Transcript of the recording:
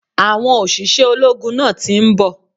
Àwọn òṣìṣẹ́ ológun náà ti nbò